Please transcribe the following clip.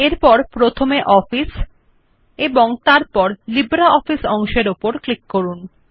এবং তারপর প্রথমে অফিস এবং তারপর লিব্রিঅফিস অপশনটি উপর ক্লিক করুন